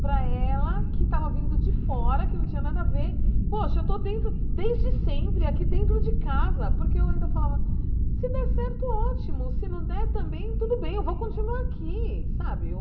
Para ela, que tava vindo de fora, que não tinha nada a ver, poxa, eu estou dentro, desde sempre, aqui dentro de casa, porque eu ainda falava, se der certo, ótimo, se não der também, tudo bem, eu vou continuar aqui, sabe?